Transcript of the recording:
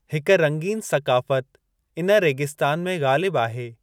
हिक रंगीनु सक़ाफ़ति इन रेगिस्तान में ग़ालिबु आहे।